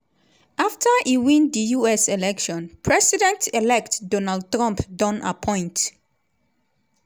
afta e win di us election president-elect donald trump don appoint